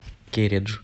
кередж